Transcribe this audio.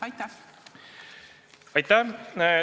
Aitäh!